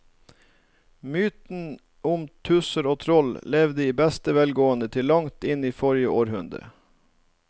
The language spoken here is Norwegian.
Mytene om tusser og troll levde i beste velgående til langt inn i forrige århundre.